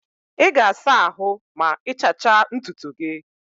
Ị ga-asa ahụ mgbe ịchacha ntutu gị.